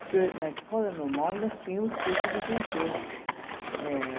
Porque na escola normal nós tínhamos curso de francês. Era